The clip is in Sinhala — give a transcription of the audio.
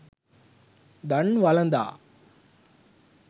දන් වළඳා